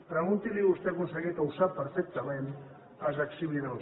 pregunti’ls ho vostè conseller que ho sap perfectament als exhibidors